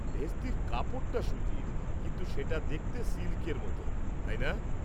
ভেস্তির কাপড়টা সুতির, কিন্তু সেটা দেখতে সিল্কের মতো, তাই না?